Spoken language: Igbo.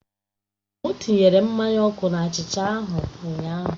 M tinyere mmanya ọkụ na achicha ahụ ụnyaahụ.